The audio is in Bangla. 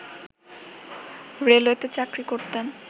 রেলওয়েতে চাকরি করতেন